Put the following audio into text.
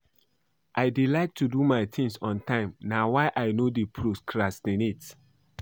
I dey like to do my things on time na why I no dey procrastinate